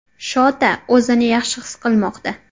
Shota o‘zini yaxshi his qilmoqda.